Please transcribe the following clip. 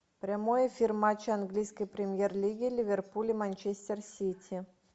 прямой эфир матча английской премьер лиги ливерпуль и манчестер сити